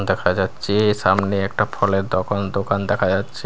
দেখা যাচ্ছে সামনে একটা ফলের দোকান দোকান দেখা যাচ্ছে।